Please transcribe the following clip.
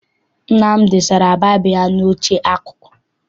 Nna m dosara baịbụl ụ ya n'oche akụkụ.